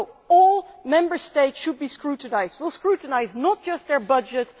No, all Member States should be scrutinised. We will scrutinise not just their budget.